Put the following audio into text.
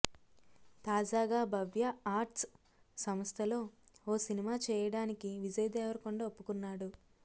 తాజాగా భవ్య ఆర్ట్స్ సంస్థలో ఓ సినిమా చేయడానికి విజయ్ దేవరకొండ ఒప్పుకొన్నాడు